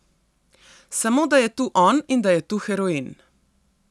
Samo da je tu on in da je tu heroin.